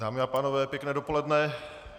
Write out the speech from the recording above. Dámy a pánové, pěkné dopoledne.